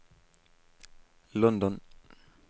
London